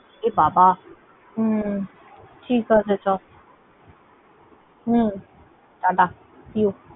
এবাবা। হম ঠিক আছে চ। হম tata see you